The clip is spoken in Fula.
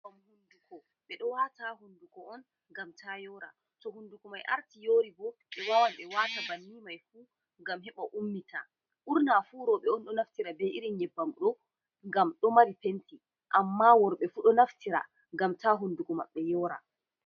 Ɓedo wata ha hunduko on ngam ta yora, to hunduko mai arti yoribo, ɓe wawan be wata bannin mai ngam heɓa ummita, burnafu rewbe, on ɗo naftira be irin nyebbam do, ngam do mari penti, amma worbefu do naftira ngam ta hunduko maɓɓe yora.